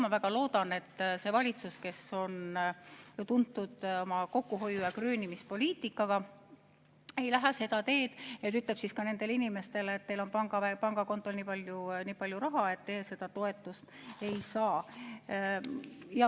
Ma väga loodan, et see valitsus, kes on tuntud oma kokkuhoiu‑ ja kröönimispoliitika poolest, ei lähe seda teed, et ütleb ka nendele inimestele, et teil on pangakontol nii palju raha, et teie seda toetust ei saa.